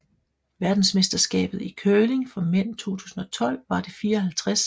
Verdensmesterskabet i curling for mænd 2012 var det 54